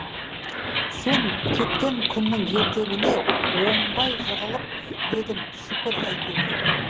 сен кеткен күннің ертеңіне оңбай жығылып едім шүкір әйтеуір